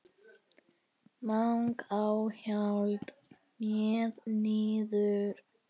MANGI Á HJALLA, hneig niður.